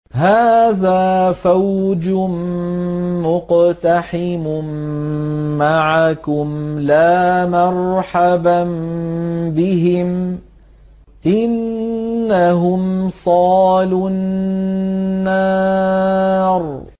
هَٰذَا فَوْجٌ مُّقْتَحِمٌ مَّعَكُمْ ۖ لَا مَرْحَبًا بِهِمْ ۚ إِنَّهُمْ صَالُو النَّارِ